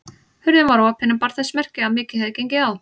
Hurðin var opin en bar þess merki að mikið hefði gengið á.